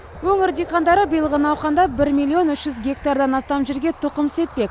өңір диқандары биылғы науқанда бір миллион үш жүз гектардан астам жерге тұқым сеппек